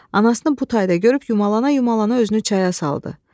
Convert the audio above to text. Anasını bu tayda görüb yumalana-yumalana özünü çaya saldı.